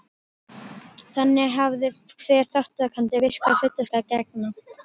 Þannig hafði hver þátttakandi virku hlutverki að gegna.